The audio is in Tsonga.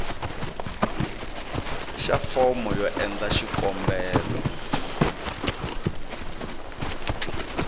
xa fomo yo endla xikombelo